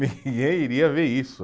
Ninguém iria ver isso.